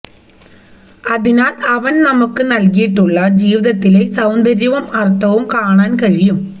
അതിനാൽ അവൻ നമുക്ക് നൽകിയിട്ടുള്ള ജീവിതത്തിലെ സൌന്ദര്യവും അർഥവും കാണാൻ കഴിയും